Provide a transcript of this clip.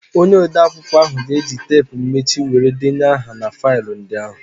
Onye odeakwụkwọ ahụ ga-eji teepu mmechi were denye aha na faịlụ ndị ahụ.